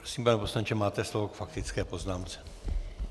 Prosím, pane poslanče, máte slovo k faktické poznámce.